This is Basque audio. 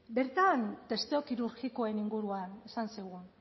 bertan testu kirurgikoen inguruan esan zigun